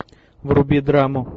вруби драму